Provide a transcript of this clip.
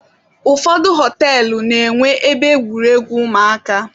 Ụfọdụ họtelụ na-enwe ebe egwuregwu ụmụaka.